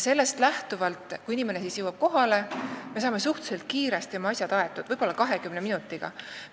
Sellepärast on nii, et kui inimene jõuab kohale, siis me saame suhteliselt kiiresti oma asjad aetud, võib-olla 20 minutiga.